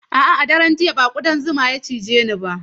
A'a, a daren jiya ba kuɗan zuma ya cije ni ba.